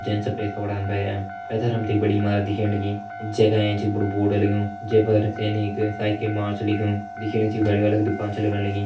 जेन सफेद कपड़ान पैरयां पैथर हम तें एक बड़ी ईमारत दिखेण लगीं जे का एंच बड़ु बोर्ड लग्युं जे पर सैनिक साइकल मार्च लिख्युं दिखेण सी यु गाड़ी वाला की दुकान छ लगण लगीं।